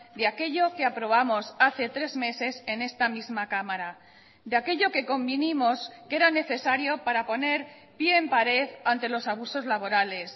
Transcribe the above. de aquello que aprobamos hace tres meses en esta misma cámara de aquello que convinimos que era necesario para poner pie en pared ante los abusos laborales